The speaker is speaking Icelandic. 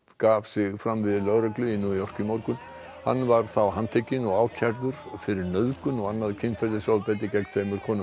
gaf sig fram við lögreglu í New York í morgun hann var þá handtekinn og ákærður fyrir nauðgun og annað kynferðisofbeldi gegn tveimur konum